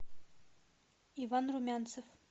иван румянцев